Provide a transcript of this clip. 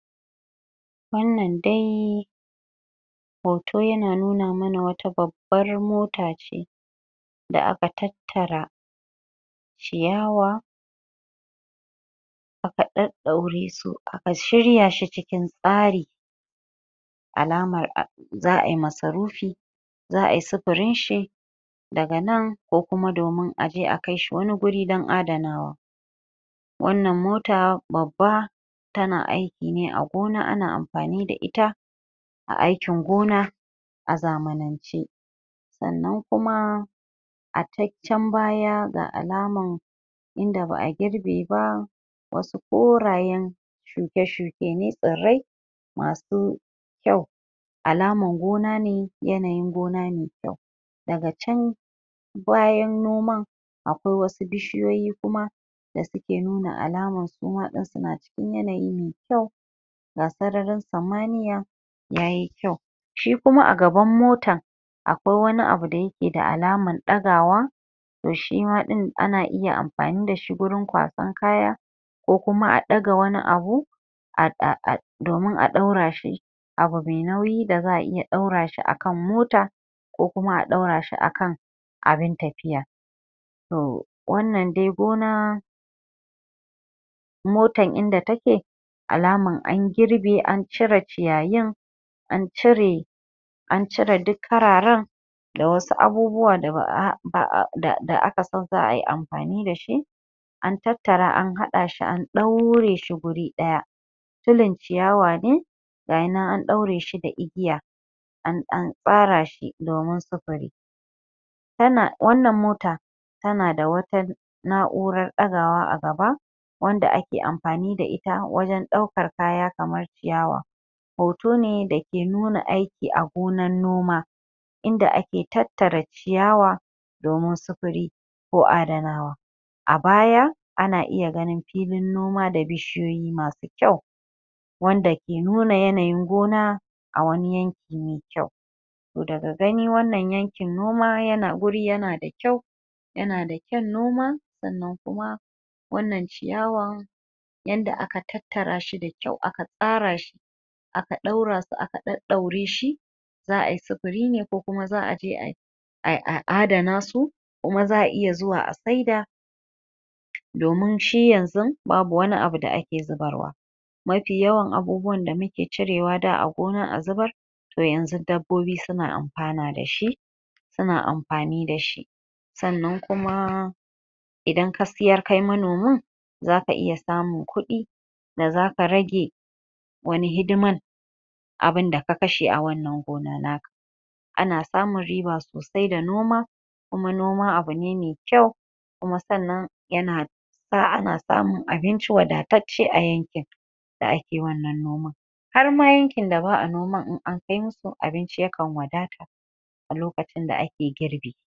wannan dai hoto yana nuna mana wata babbar mota ce da aka tattara ciyawa aka daddauresu aka shiryashi cikin tsari alaman zaai masarufi zaai safarinshi daga nan koh kuma domin aje a kai shi wani wuri dan adanawa wannan mota babba tana aiki ne a gona ana amfani da ita a aikin gona a zamanan ce sannan kuma a ta can baya ga alaman inda baa girbe ba wasu korayen shuke shuke ne tsirrai masu kyau alaman gona ne yanayin gona ne daga can bayan gonan akwai wasu bishiyoyi kuma da suke nuna alaman suma suna cikin yanayi mai kyau ga sararin samaniya yayi kyau shi kuma a gaban motan akwai wani abu da yakeda alaman ɗagawa toh shima ɗin ana iya amfani dashi wurin ƙwasan kaya koh kuma a ɗaga wani abu domin a ɗaura shi abu mai nauyi da zaa iya ɗaura shi akan mota koh ma a daurashi akan abun tafiya toh wannan dai gona motan dai inda take alaman an girɓe an cire ciyayi an cire an cire duk kararen da wasu da wasu abu da aka san zaayi amfani dashi an tattara an haɗashi an daure wuri daya tulin ciyawa ne gayinan an ɗaure shi da igiya an tsara shi domin safari wannan mota tanada wata na`uran ɗagawa a gaba wanda ake amfani da ita wajen ɗaukan kaya kamar ciyawa hoto ne dake nuna aiki a gonan noma inda ake tattare ciyawa domin sufuri koh adanawa a baya ana iya ganin filin noma da bishiyoyi masu kyau wanda keh nuna yanayin gona a wani yanki mai kyau toh daga gani wannan yankin noma yana wuri yanada kyau yanada kyan noma sannan kuma wannan ciyawan yanda aka tattarashi da kyau aka tsarashi aka ɗaurasu aka ɗaɗɗaureshi zaa`i sufuri ne koh kuma za`aje a a adanasu kuma za`a iya zuwa a saida domin shi yanzu babu wani abu da ake zubarwa mafi yawan abubuwan da muke cirewa da a gonan a zubar toh yanzu dabbobi suna amfana dashi suna amfani dashi sannan kuma idan ka siyar kai manomin zaka iya samun kudi da zaka rage wani hidiman abinda ka kashe a wannan gona naka ana samun riba sosai da noma kuma noma abu ne mai kyau kuma sannan yana sa sa ana samun abinci wadatacce a yankin da ake wannan noma har ma yankin da ba`a noma in an kai musu abinci yakan wadata lokacin da ake girɓi